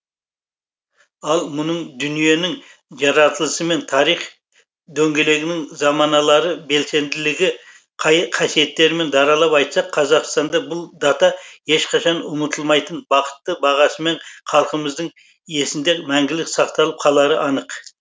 ал мұның дүниенің жаратылысымен тарих дөңгелегінің заманалары белсенділігі қасиеттерімен даралап айтсақ қазақстанда бұл дата ешқашан ұмытылмайтын бақытты бағасымен халқымыздың есінде мәңгілік сақталып қалары анық